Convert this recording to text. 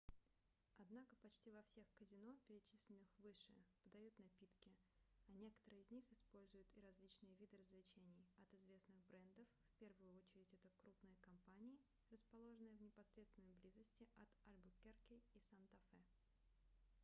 однако почти во всех казино перечисленных выше подают напитки а некоторые из них используют и различные виды развлечений от известных брендов в первую очередь это крупные компании расположенные в непосредственной близости от альбукерке и санта-фе